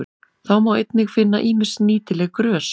Þá má einnig finna ýmis nýtileg grös.